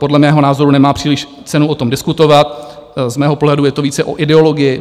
Podle mého názoru nemá příliš cenu o tom diskutovat, z mého pohledu je to více o ideologii.